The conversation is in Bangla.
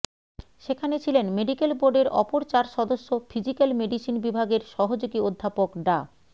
সেখানে ছিলেন মেডিকেল বোর্ডের অপর চার সদস্য ফিজিক্যাল মেডিসিন বিভাগের সহযোগী অধ্যাপক ডা